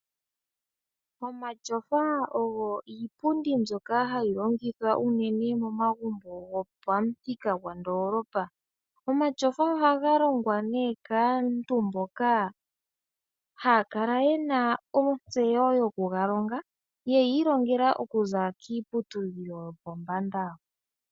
Omatyofa ogo iipundi mbyoka hayi longitha unene momagumbo gopomuthika gondolopa. Omatyofa ohaga longwa ne kaantu mboka haya kala yena otseyo yoku galonga yeyi ilongela oku za kiipuyudhilo yopombanda.